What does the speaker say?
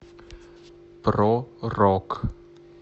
про рок